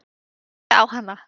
Ég horfi á hana.